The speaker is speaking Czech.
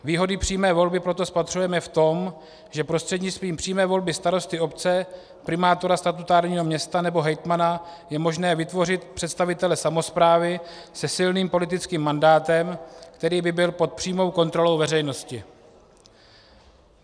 Výhody přímé volby proto spatřujeme v tom, že prostřednictvím přímé volby starosty obce, primátora statutárního města nebo hejtmana je možné vytvořit představitele samosprávy se silným politickým mandátem, který by byl pod přímou kontrolou veřejnosti.